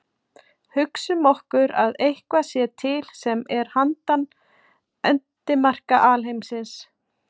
Hugsum okkur að eitthvað sé til sem er handan endimarka alheimsins.